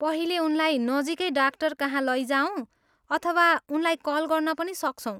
पहिले उनलाई नजिकै डाक्टरकहाँ लैजाऔँ अथवा उनलाई कल गर्न पनि सक्छौँ।